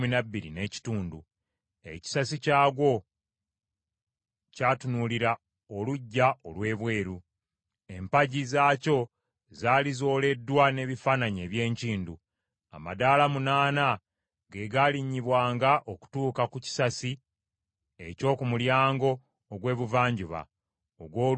Ekisasi kyagwo kyatunuulira oluggya olw’ebweru. Empagi zaakyo zaali zooleddwa n’ebifaananyi eby’enkindu. Amadaala munaana ge gaalinnyibwanga okutuuka ku kisasi eky’oku mulyango ogw’Ebuvanjuba ogw’oluggya olw’omunda.